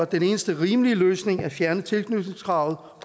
den eneste rimelige løsning nemlig at fjerne tilknytningskravet